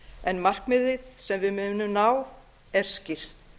en markmiðið sem við munum ná er skýrt